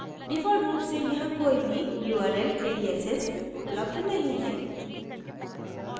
default रूप से यहाँ कोई भी url aliases उपलब्ध नहीं है